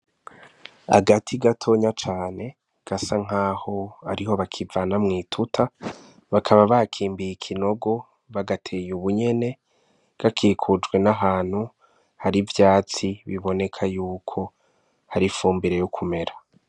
Agati gatonya cane gasa nk'aho ariho bakivana mw'ituta bakaba bakimbiye ikinogo bagateye ubunyene gakikujwe n'ahantu hari ivyatsi biboneka yuko hari fumbire yo ukumera.